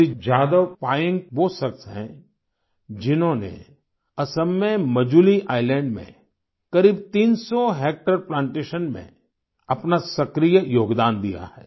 श्री जादव पायेन्ग वो शख्स हैं जिन्होंने असम में मजूली आइलैंड में करीब 300 हेक्टेयर प्लांटेशन में अपना सक्रिय योगदान दिया है